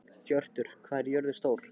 Hjörtur, hvað er jörðin stór?